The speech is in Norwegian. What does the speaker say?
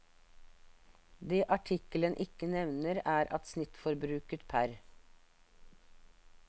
Det artikkelen ikke nevner er at snittforbruket pr.